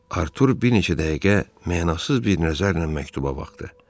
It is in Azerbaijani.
Artur bir neçə dəqiqə mənasız bir nəzərlə məktuba baxdı.